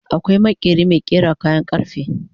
akwai maƙeri Mai ƙera kayan karfe